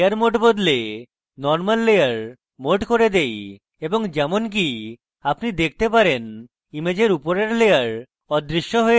আমি layer mode বদলে normal layer mode fore দেই এবং যেমনকি আপনি দেখতে পারেন ইমেজের উপরের layer অদৃশ্য হয়ে যায়